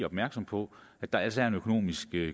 opmærksom på at der altså er en økonomisk